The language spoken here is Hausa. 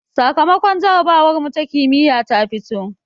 Sakamakon jarabawarmu ta kimiyya ta fito